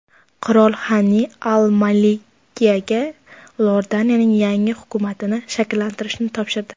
Qirol Xani al-Malkiyga Iordaniyaning yangi hukumatini shakllantirishni topshirdi.